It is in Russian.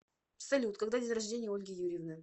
салют когда день рождения у ольги юрьевны